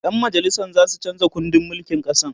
ƴan majalisan zasu chanza kundin mulkin ƙasan